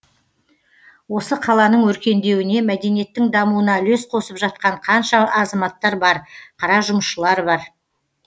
осы қаланың өркендеуіне мәдениеттің дамуына үлес қосып жатқан қанша азаматтар бар қара жұмысшылар бар